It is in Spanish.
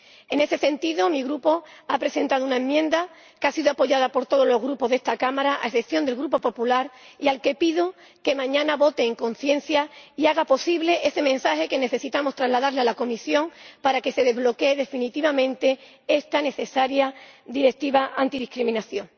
En ese sentido, mi Grupo ha presentado una enmienda que ha sido apoyada por todos los grupos de esta Cámara, a excepción del Grupo Popular, al que pido que mañana vote en conciencia y haga posible que traslademos ese mensaje a la Comisión para que se desbloquee definitivamente esta necesaria directiva antidiscriminación.